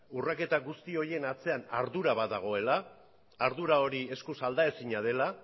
urraketak guzti horien atzean ardura badagoela ardura hori eskuz alda ezina dela